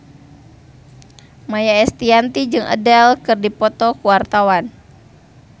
Maia Estianty jeung Adele keur dipoto ku wartawan